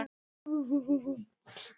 Hvað dvelur?